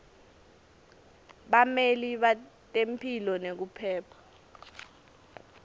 bameli betemphilo nekuphepha